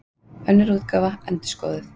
Önnur útgáfa, endurskoðuð.